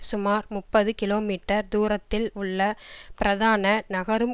சுமார் முப்பது கிலோமீட்டர் தூரத்தில் உள்ள பிரதான நகரும்